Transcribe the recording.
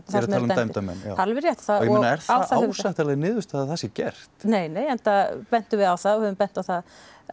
dæmda menn það er alveg rétt ég meina er það ásættanleg niðurstaða að það sé gert nei nei enda bendum við á það og höfum bent á það